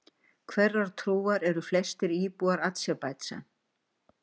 Hverrar trúar eru flestir íbúar Azerbaijan?